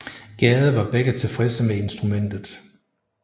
Gade var begge tilfredse med instrumentet